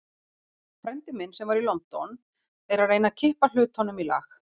Frændi minn, sem var í London, er að reyna að kippa hlutunum í lag.